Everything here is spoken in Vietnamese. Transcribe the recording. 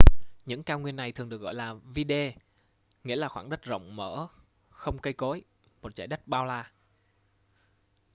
những cao nguyên này thường được gọi là vidde nghĩa là khoảng đất rộng mở không cây cối một dải đất bao la